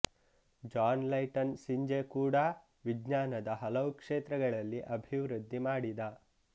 John Lighton Synge ಕೂಡಾ ವಿಜ್ಞಾನದ ಹಲವು ಕ್ಷೇತ್ರಗಳಲ್ಲಿ ಅಭಿವೃದ್ಧಿ ಮಾಡಿದ